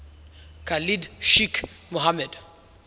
khalid sheikh mohammed